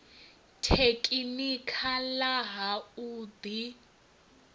tekhinikha ḽa ha u ḓi